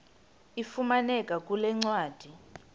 ifumaneka kule ncwadi